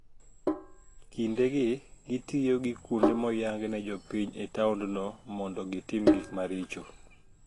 Kindegi , gitiyo gi kuonde moyang ne jopiny e taondno mondo gitim gik maricho.